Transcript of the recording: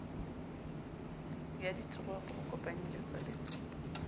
ya ditoropo ho kopanyeletsa le